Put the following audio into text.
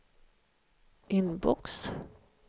inbox